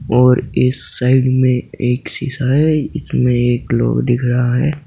और इस साइड में एक शीशा है जिसमें ग्लोब दिख रहा है।